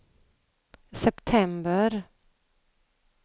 september